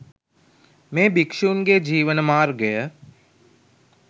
මේ භික්ෂූන් ගේ ජීවන මාර්ගය